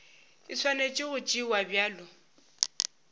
e swanetše go tšewa bjalo